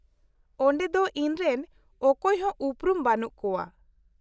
-ᱚᱸᱰᱮ ᱫᱚ ᱤᱧ ᱨᱮᱱ ᱚᱠᱚᱭ ᱦᱚᱸ ᱩᱯᱨᱩᱢ ᱵᱟᱹᱱᱩᱜ ᱠᱚᱣᱟ ᱾